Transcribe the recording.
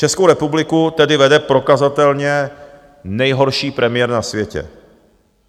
Českou republiku tedy vede prokazatelně nejhorší premiér na světě.